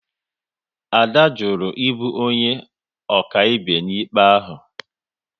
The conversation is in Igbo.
Ade jụrụ ibu onye akaebe n'ikpe ahụ